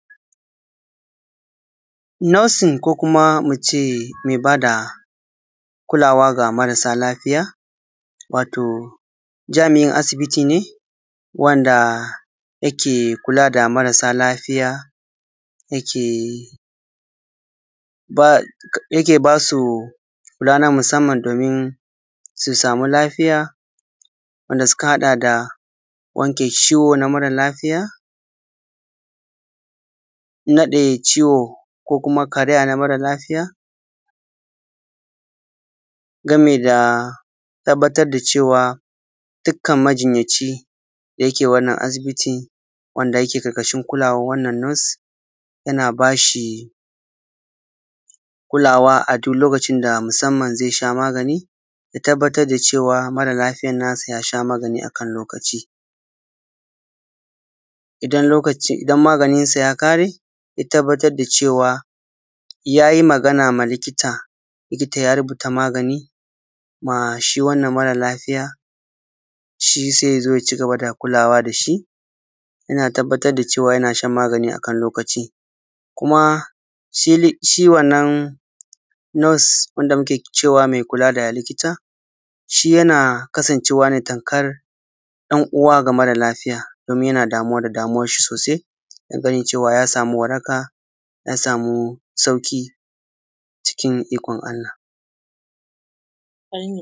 Nosin ko kuma mu ce me ba da kulawa ga marasa lafija, wato jami’in asibiti ne wanda yake kula da marasa lafiya, dake ba su kula na musamman. Domin su samu lafiya, wanda suka haɗa da wanke ciwo na mara lafiya naɗe ciwo ko kuma karaya na mara lafiya, game da tabbatar da cewa dukkan majinyaci da ke wannan abiti, wanda yake ƙarƙashin kulawan wannan nos.. Yana ba shi kulawa a duk lokaci musamman zai sha magani. Ya tabbatar da mara lafiyan nasa ya sha magani a kan lokaci. idan maganinsa ya ƙare ya tabbatar da cewa ya yi magana ma likita, likita ya rubuta magani ma shi wannan mara lafiya. Shi sai ya zo ya cigaba da kulawa da shi, yana tabbatar da yana shan magani a kan lokaci, kuma shi wannan nos wanda muke cewa mai kula da likita, shi yana kasancewa tamkar ɗan uwa ga mara lafiya, ,domin yana damuwa da dan uwarsa sosai na ganin ya samu waraka, ya samu sauƙi cikin da ikon allah.